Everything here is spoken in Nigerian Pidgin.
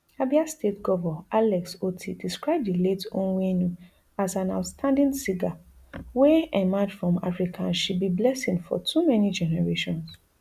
abia state govor alex otti describe di late onwenu an as outstanding singer wey emerge from africa and she be blessing for to many generations